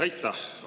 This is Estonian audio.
Aitäh!